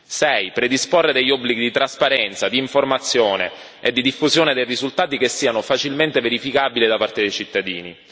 6 predisporre degli obblighi di trasparenza, di informazione e di diffusione dei risultati che siano facilmente verificabili da parte dei cittadini